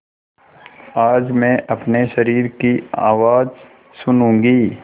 आज मैं अपने शरीर की आवाज़ सुनूँगी